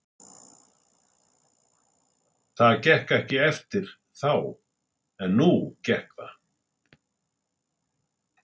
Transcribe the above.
Það gekk ekki eftir þá en nú gekk það.